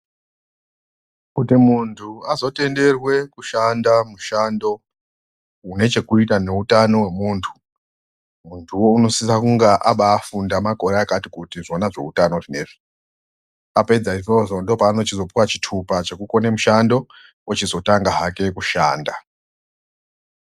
Kuti muntu azotenderwe kushanda mushando unochokuita neutano hwemuntu anosise kunga akafunda kwemakore akati kuti zvona zveutano zvineizvi apedza izvozvo ndopa anozopiwa chitupa chekukone mushando ochizotanga hake kushanda.